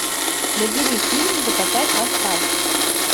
набери фильм закатать в асфальт